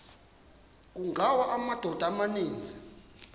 kungawa amadoda amaninzi